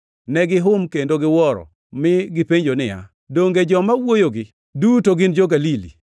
Negihum kendo giwuoro, mi gipenjo niya, “Donge joma wuoyogi duto gin jo-Galili?